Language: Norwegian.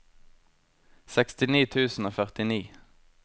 sekstini tusen og førtini